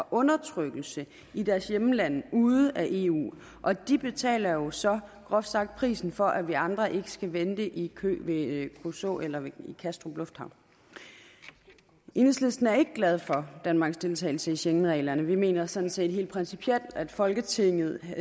undertrykkelse i deres hjemlande ude af eu og de betaler jo så groft sagt prisen for at vi andre ikke skal vente i kø ved kruså eller i kastrup lufthavn enhedslisten er ikke glad for danmarks deltagelse i schengenreglerne vi mener sådan set helt principielt at folketinget